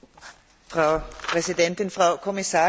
Frau Präsidentin, Frau Kommissarin!